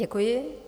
Děkuji.